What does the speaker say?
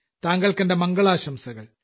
താങ്കൾക്കെന്റെ മംഗളാശംസകൾ